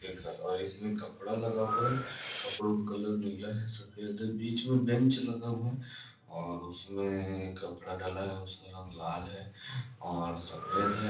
सामने में देखा और इसमे कपडा लगा हुआ है कपड़ो मे कलर नीला है सफ़ेद है बिच मे बेंच लगा हुआ है और उसमे कपडा डला है और लाल है और सफ़ेद है